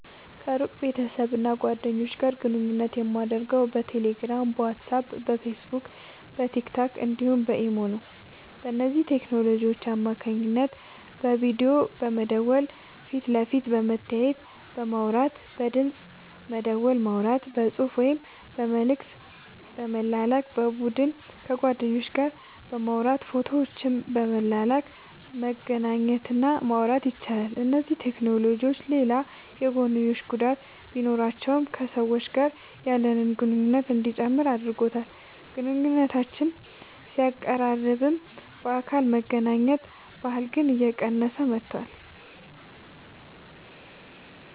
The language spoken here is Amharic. ከሩቅ ቤተሰብና ጓደኞች ጋር ግንኙነት የማደርገው በቴሌግራም፣ በዋትስአፕ፣ በፌስቡክና በቲክቶክ እንዲሁም በኢሞ ነው። በእነዚህ ቴክኖሎጂዎች አማካኝነት በቪዲዮ በመደወል ፊት ለፊት በመተያየትና በማውራት፣ በድምፅ ደወል በማውራት፣ በጽሑፍ ወይም መልእክት በመላክ፣ በቡድን ከጓደኞች ጋር በማውራት ፎቶዎችን በመላላክ መገናኘት እና ማውራት ይቻላል። እነዚህ ቴክኖሎጂዎች ሌላ የጐንዮሽ ጉዳት ቢኖራቸውም ከሰዎች ጋር ያለንን ግንኙነት እንዲጨምር አድርጎታል። ግንኙነቶችን ቢያቀራርብም፣ በአካል የመገናኘት ባህልን ግን እየቀነሰው መጥቷል።